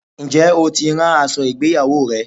Ǹjẹ́ o tí ń rán aṣọ ìgbéyawó rẹ?